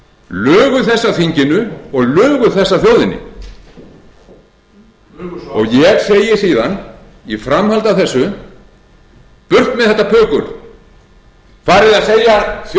þessu að þinginu og lugu þessu að þjóðinni ég segi síðan í framhaldi af þessu burt með þetta pukur farið að segja þjóðinni